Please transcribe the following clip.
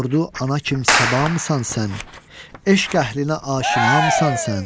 Sordu ana kim səbamısan sən, eşq əhlinə aşinamısan sən?